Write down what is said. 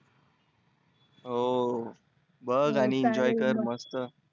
हो बघ आणि enjoy कर मस्त.